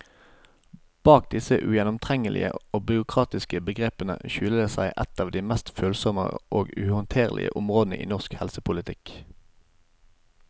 Bak disse ugjennomtrengelige og byråkratiske begrepene skjuler det seg et av de mest følsomme og uhåndterlige områdene i norsk helsepolitikk.